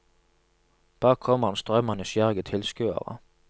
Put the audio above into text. Bak kommer en strøm av nysgjerrige tilskuere.